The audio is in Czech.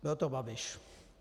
Byl to Babiš.